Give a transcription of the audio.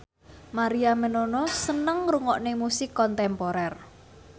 Maria Menounos seneng ngrungokne musik kontemporer